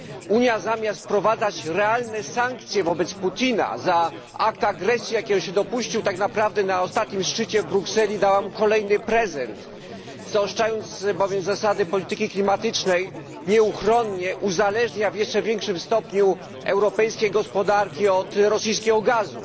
Unia, zamiast wprowadzać realne sankcje wobec Putina za akt agresji, jakiego się dopuścił, tak naprawdę na ostatnim szczycie w Brukseli dała mu kolejny prezent, zaostrzając bowiem zasady polityki klimatycznej, nieuchronnie uzależnia w jeszcze większym stopniu europejskie gospodarki od rosyjskiego gazu.